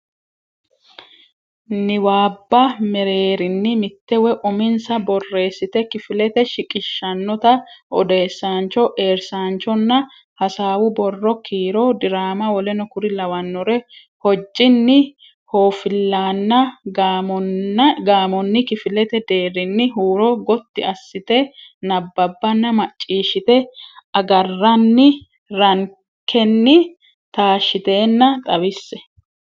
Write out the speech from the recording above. niwaabba mereerinni mitte woy uminsa borreessite kifilete shiqishshannota odeessaancho eersaanchonna hasaawu borro kiiro diraama w k l hojjinni hooffillaanna gaamonni kifilete deerrinni huuro gotti assite nabbabbanna macciishshite agarranni rankenni taashshitenna xawisse.